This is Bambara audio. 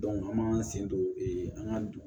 an m'an sen don an ka